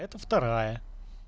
это вторая